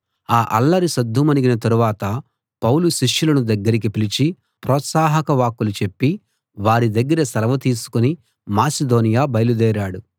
ఆ అల్లరి సద్దుమణిగిన తరువాత పౌలు శిష్యులను దగ్గరికి పిలిచి ప్రోత్సాహక వాక్కులు చెప్పి వారి దగ్గర సెలవు తీసుకుని మాసిదోనియ బయలుదేరాడు